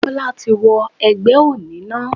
Bólá ti wo egbé oní náà